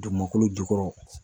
Dugumakolo jukɔrɔ.